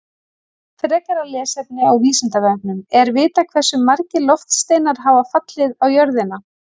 Frekara lesefni á Vísindavefnum Er vitað hversu margir loftsteinar hafa fallið á jörðina?